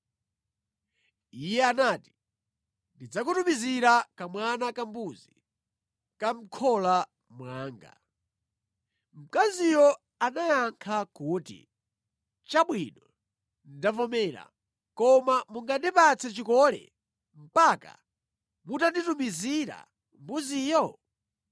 Iye anati, “Ndidzakutumizira kamwana kambuzi ka mʼkhola mwanga.” Mkaziyo anayankha kuti, “Chabwino, ndavomera, koma mungandipatse chikole mpaka mutanditumizira mbuziyo?”